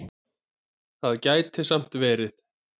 Það gæti samt verið.